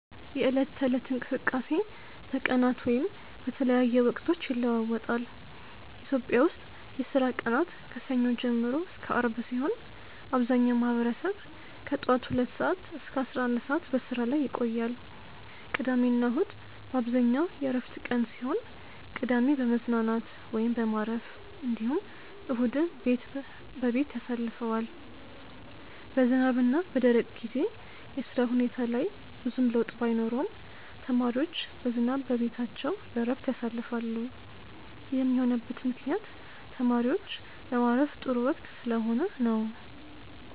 የዕለት ተለት እንቅስቃሴ በቀናት ወይም በተለያየ ወቅቶች ይለዋወጣል። ኢትዮጵያ ውስጥ የስራ ቀናት ከሰኞ ጀምሮ እስከ አርብ ሲሆን አብዛኛው ማህበረሰብ ከጠዋት ሁለት ሰዓት እስከ 11 ሰዓት በስራ ላይ ቆያል። ቅዳሜና እሁድ በአብዛኛው የእረፍት ቀን ሲሆን ቅዳሜ በመዝናናት ወይም በማረፍ እንዲሁም እሁድን በቤት ያሳልፈዋል። በዝናብና በደረቅ ጊዜ የስራ ሁኔታ ላይ ብዙም ለውጥ ባይኖረውም ተማሪዎች በዝናብ በቤታቸው በእረፍት ያሳልፋሉ ይህም የሆነበት ምክንያት ተማሪዎች ለማረፍ ጥሩ ወቅት ስለሆነ ነው።